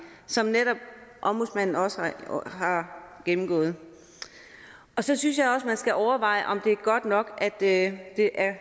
som ombudsmanden også har gennemgået så synes jeg også at man skal overveje om det er godt nok at det er